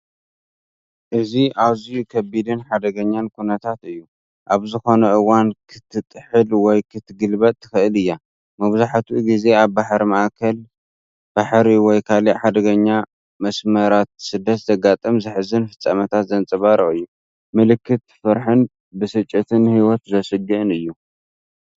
እዚ ኣዝዩ ከቢድን ሓደገኛን ኩነታት እዩ፣ ኣብ ዝኾነ እዋን ክትጥሕል ወይ ክትግልበጥ ትኽእል እያ። መብዛሕትኡ ግዜ ኣብ ባሕሪ ማእከላይ ባሕሪ ወይ ካልእ ሓደገኛ መስመራት ስደት ዘጋጥም ዘሕዝን ፍጻመታት ዘንጸባርቕ እዩ። ምልክት ፍርሕን ብስጭትን ንህይወት ዘስግእን እዩ።